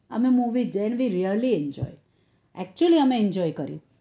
અમે movie there we reslly enjoy actually અમે actually કર્યું